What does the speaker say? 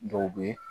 Dɔw bɛ